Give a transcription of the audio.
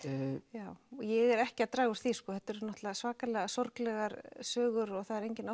já og ég er ekki að draga úr því þetta eru svakalega sorglegar sögur og það er engin